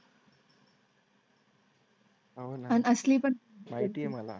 हो ना आणि असली पण. माहिती आहे मला.